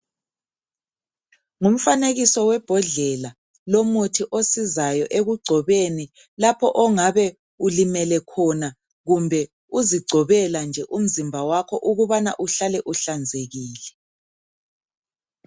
Ngumfanekiso webhodlela lomuthi osizayo ekugcobeni lapho ongabe ulimele khona kumbe uzigcobela nje umzimba wakho ukubana uhlale uhlanzekile.